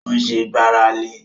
Ó ṣẹ́ gbáralé